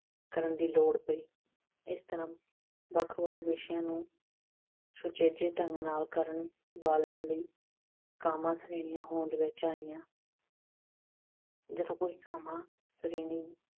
ਕਰਨ ਦੀ ਲੋੜ ਪਈ। ਇਸ ਤਰ੍ਹਾਂ ਵੱਖ-ਵੱਖ ਵਿਸ਼ਿਆਂ ਨੂੰ ਸੁਚੱਜੇ ਢੰਗ ਨਾਲ ਕਰਨ ਵਾਲਿਆਂ ਲਈ ਕਾਮਾ ਸ਼੍ਰੇਣੀਆਂ ਹੋਂਦ ਵਿੱਚ ਆਈਆਂ। ਜਦੋਂ ਕੋਈ ਕਾਮਾ ਸ਼੍ਰੇਣੀ